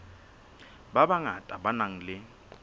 ba bangata ba nang le